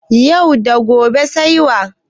Yau da gobe sai wa?